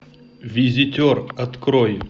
визитер открой